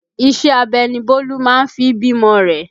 Iṣẹ́ abẹ ni Bólú máa fi bímọ rẹ